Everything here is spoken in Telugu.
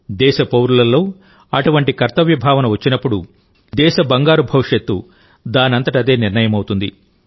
దేశ పౌరులలో అటువంటి కర్తవ్య భావన వచ్చినప్పుడుదేశ బంగారు భవిష్యత్తు దానంతట అదే నిర్ణయమవుతుంది